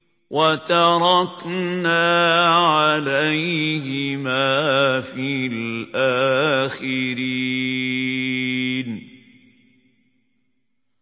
وَتَرَكْنَا عَلَيْهِمَا فِي الْآخِرِينَ